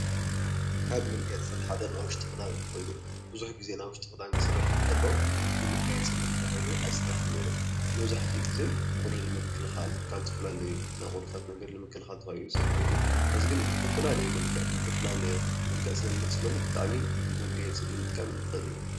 ካብ መጋየፂታት ሓደ ናይ ውሽጢ ክዳን ኮይኑ ብዙሕ ጊዜ ናይ ውሽጢ ክዳን ክስራሕ እንተሎ ንመጋየፅነት ተባሂሉ ኣይስራሕን ነይሩ፡፡ መብዛሕቲኡ ጊዜ ቁሪ ንምክልኻል ካብ ዝተፈላለዩ ናይ ቁርታት መንገድታት ንምክልኻል ተባሂሉ እዩ ይስራሕ ነይሩ፡፡ ሕዚ ግን ብዝተፈላለየ መልክዕ ይመፅእ ስለዘሎ ብጣዕሚ መጋየፂ ምጥቃም ንኽእል ኢና፡፡